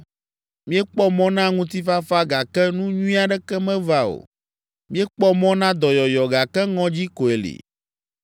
Míekpɔ mɔ na ŋutifafa gake nu nyui aɖeke meva o. Míekpɔ mɔ na dɔyɔyɔ gake ŋɔdzi koe li.